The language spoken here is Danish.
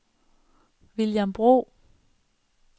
William Bro